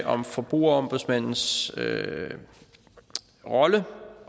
om forbrugerombudsmandens rolle